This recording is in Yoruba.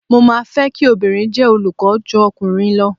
Mo máa fẹ́ kí obìnrin jẹ́ olùkọ́ ju ọkùnrin lọ.